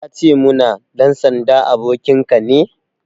Ya ce muna,"Ɗan sanda abokinka ne"